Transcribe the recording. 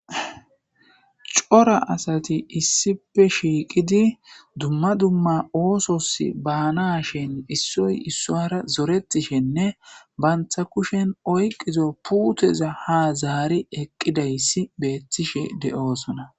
Cora asati issipe shiiqidi dumma dumma oosos baanashen issoy issoara zoretishenne bantha kushen oyqizo puuteza ha zaari eqqidayssi beettishe de'oosona.